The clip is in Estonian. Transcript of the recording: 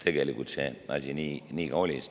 Tegelikult see asi nii ka oli.